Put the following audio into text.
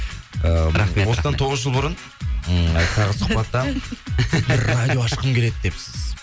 осыдан тоғыз жыл бұрын сұхбатта бір радио ашқым келеді депсіз